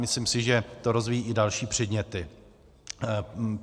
Myslím si, že to rozvíjejí i další předměty.